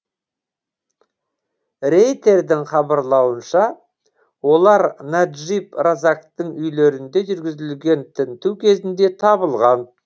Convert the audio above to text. рейтердің хабарлауынша олар наджиб разактың үйлерінде жүргізілген тінту кезінде табылған